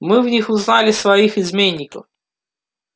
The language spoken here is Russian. мы в них узнали своих изменников